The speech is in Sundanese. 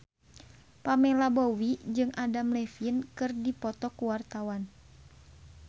Pamela Bowie jeung Adam Levine keur dipoto ku wartawan